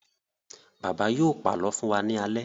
Bàbá yóò pàlọ́ fún wa ní alẹ́.